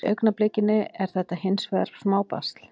Í augnablikinu er þetta hins vegar smá basl.